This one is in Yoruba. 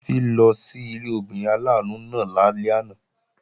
Títí lọ sí ilé obìnrin aláàánú náà lálẹ́ àná